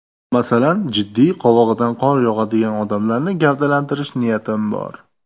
Masalan, jiddiy, qovog‘idan qor yog‘adigan odamlarni gavdalantirish niyatim bor.